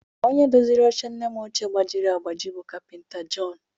Onye doziri oche nne m ọchịe gbajiri agbaji bụ kapịnta Jọn